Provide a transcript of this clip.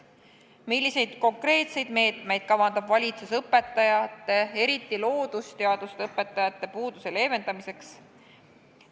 Milliseid konkreetseid meetmeid kavandab valitsus õpetajate, eriti loodusteaduste õpetajate puuduse leevendamiseks?